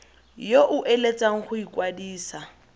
yo o eletsang go ikwadisa